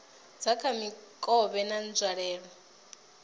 dza kha mikovhe na nzwalelo